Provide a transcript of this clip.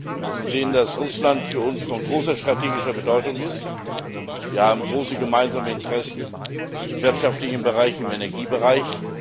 Wir müssen sehen, dass Russland für uns von großer strategischer Bedeutung ist. Wir haben große gemeinsame Interessen im wirtschaftlichen Bereich, im Energiebereich.